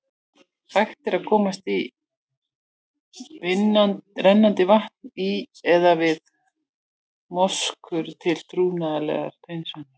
Hægt er að komast í rennandi vatn í eða við moskur, til trúarlegrar hreinsunar.